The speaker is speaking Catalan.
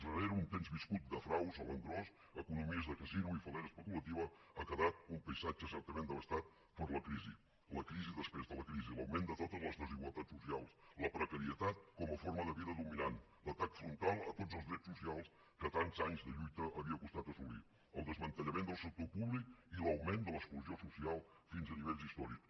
rere un temps viscut de fraus a l’engròs economies de casino i fal·lera especulativa ha quedat un paisatge certament devastat per la crisi la crisi després de la crisi l’augment de totes les desigualtats socials la precarietat com a forma de vida dominant l’atac frontal a tots els drets socials que tants anys de lluita havia costat assolir el desmantellament del sector públic i l’augment de l’exclusió social fins a nivells històrics